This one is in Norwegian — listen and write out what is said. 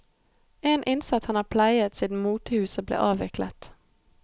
En innsats han har pleiet siden motehuset ble avviklet.